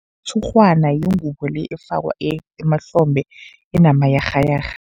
Umshurhwana yingubo le efakwa emahlombe enamayarhayarha.